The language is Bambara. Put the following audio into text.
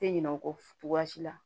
Tɛ ɲinɛ o kɔ cogoya si la